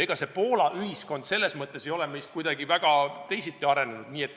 Ega Poola ühiskond selles mõttes ei ole meist kuidagi väga teisiti arenenud.